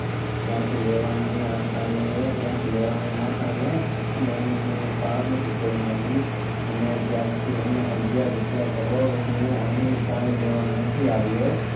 ત્યાં થી લેવાની આશા એ ત્યાં થી લેવાની આશા એ ફાર્મસી ખોલી નાખી અને તીરથી અમે અગિયાર રૂપિયા કરોડ હું કઈ અહિયાં લેવા નથી આવ્યો